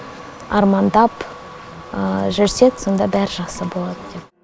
армандап жүрсек сонда бәрі жақсы болады деп